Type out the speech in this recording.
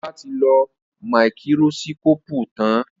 Ola tí lọ Máíkírósíkópù tán